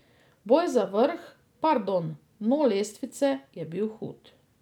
Boj za vrh, pardon, dno lestvice, je bil hud.